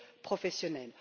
professionnelle.